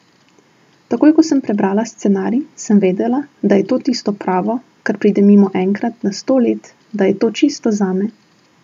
Takoj ko sem prebrala scenarij, sem vedela, da je to tisto pravo, kar pride mimo enkrat na sto let, da je to čisto zame.